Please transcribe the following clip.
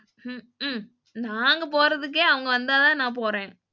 உம்ம்கும் நாங்க போறதுக்கே அவங்க வந்தாதான் நான் போறேன்.